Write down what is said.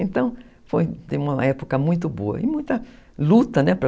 Então, foi uma época muito boa e muita luta, né?